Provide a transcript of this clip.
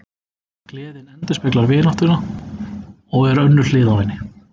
Gleðin endurspeglar vináttuna og er önnur hlið á henni.